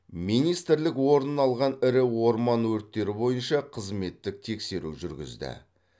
министрік орын алған ірі орман өрттері бойынша қызметтік тексеру жүргізді